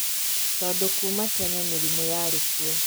Tondũ kuuma tene mĩrimũ yarĩ kuo